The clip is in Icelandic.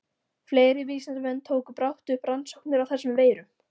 Fleiri vísindamenn tóku brátt upp rannsóknir á þessum veirum.